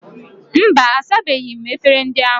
Mba, asabeghi m efere ndị ahụ.